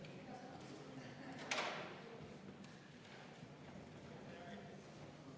Head kolleegid, EKRE fraktsiooni palutud vaheaeg on lõppenud.